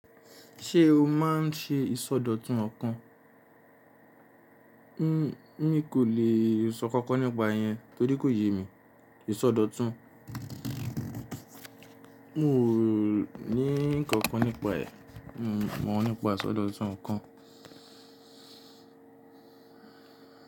Ṣé o máa ń ṣe ìsọdọ̀tun ọ̀kan Emi kò lè sọ nkankan nípa yẹn torí kò yé mi. Ìsọdọ̀tun. Mo ní nkankan nípa ẹ̀, mi o mọ̀ nípa ìsọdọ̀tun ọnkan.